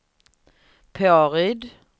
Påryd